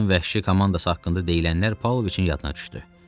Tarzanın vəhşi komandası haqqında deyilənlər Pavloviçin yadına düşdü.